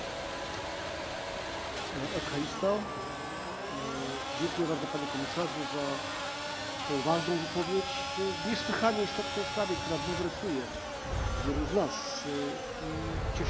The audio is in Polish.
Dziękuję bardzo Panie Komisarzu za tę ważną wypowiedź w niesłychanie istotnej sprawie, która bulwersuje wielu z nas, i cieszymy się, że Pan do nas ponownie przybył.